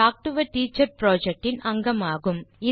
talk to a teacher project இன் அங்கமாகும்